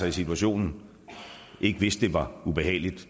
i situationen ikke vidste det var ubehageligt